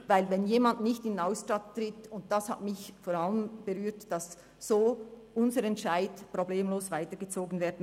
Denn wenn jemand nicht in den Ausstand tritt – und das hat mich vor allem berührt –, kann unser Entscheid so problemlos weitergezogen werden.